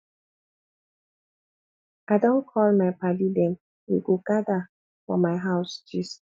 i don call my paddy dem we go gada for my house gist